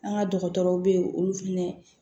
An ka dɔgɔtɔrɔw bɛ yen olu fɛnɛ